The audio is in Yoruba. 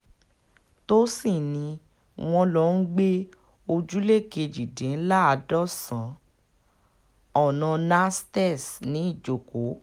tòsìn ni wọ́n lọ ń gbé ojúlé kejìdínláàádọ́sàn-án ọ̀nà nantes ní ìjọkọ̀